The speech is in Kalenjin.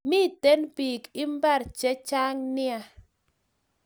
Miten pik imbar che chang nea